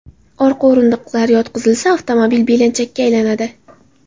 Orqa o‘rindiqlar yotqizilsa, avtomobil belanchakka aylanadi.